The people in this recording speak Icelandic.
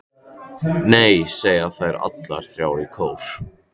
Nei, segja þær allar þrjár í kór.